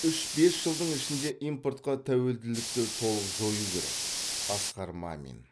үш бес жылдың ішінде импортқа тәуелділікті толық жою керек асқар мамин